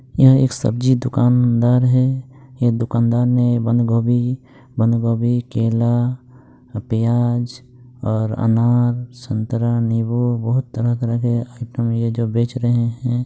ये एक सब्जी दुकानदार है यह दुकानदार ने बंद-गोभी बंद-गोभी केला प्याज और अनार संतरा नींबू बहुत तरह-तरह के आईटम ये जो बेच रहे है।